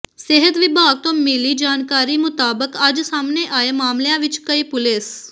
ਸਿਹਤ ਵਿਭਾਗ ਤੋਂ ਮਿਲੀ ਜਾਣਕਾਰੀ ਮੁਤਾਬਕ ਅੱਜ ਸਾਹਮਣੇ ਆਏ ਮਾਮਲਿਆਂ ਵਿਚ ਕਈ ਪੁਲਿਸ